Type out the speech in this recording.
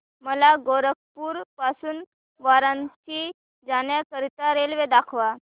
मला गोरखपुर पासून वाराणसी जाण्या करीता रेल्वे दाखवा